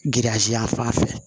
Giriyazi a fan fɛ